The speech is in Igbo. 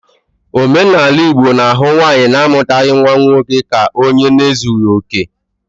Omenala Igbo na-ahụ nwaanyi na-amutaghi nwa nwoke ka onye na ezughi oke.